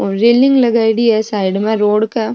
और रेलिंग लगाईडी है साइड में रोड क।